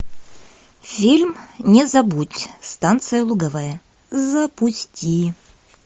фильм не забудь станция луговая запусти